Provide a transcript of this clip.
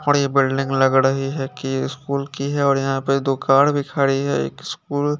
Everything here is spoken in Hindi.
पूरी बिल्डिंग लग रही है की स्कूल की है और यहाँ पर दो कार भी खड़ी है एक स्कूल --